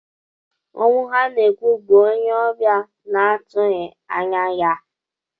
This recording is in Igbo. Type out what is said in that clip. Ọnwụ ha na-ekwu, bụ onye ọbịa na-atụghị anya ya.